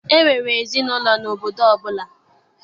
E nwere ezinaụlọ n'obodo ọbụla.